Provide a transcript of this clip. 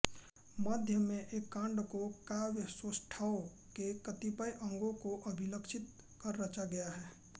मध्य में एक कांड काव्यसौष्ठव के कतिपय अंगों को अभिलक्षित कर रचा गया है